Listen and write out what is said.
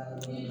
A ye